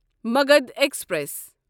Magadh express